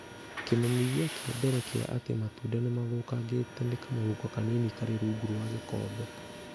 Kĩmenyithia kĩa mbere kĩa atĩ matunda nĩ mathũkangĩte nĩ kamũhuko kanini karĩ rungu rwa gĩkombe